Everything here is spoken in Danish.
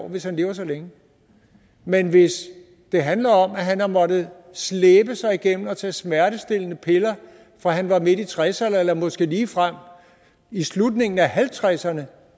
hvis han lever så længe men hvis det handler om at han har måttet slæbe sig igennem og tage smertestillende piller fra han var midt i tresserne eller måske ligefrem i slutningen af halvtredserne